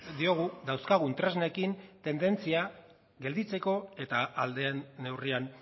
diogu dauzkagun tresnekin tendentzia gelditzeko eta ahal den neurrian